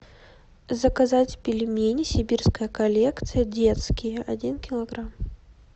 заказать пельмени сибирская коллекция детские один килограмм